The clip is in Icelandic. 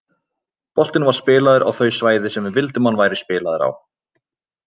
Boltinn var spilaður á þau svæði sem við vildum að hann væri spilaður á.